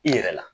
I yɛrɛ la